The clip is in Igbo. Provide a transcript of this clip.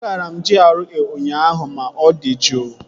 Agara m GRA ụnyaahụ ma ọ dị juu